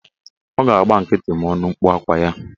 Ọ ga-agba nkịtị ma ọ nụ mkpu akwa ya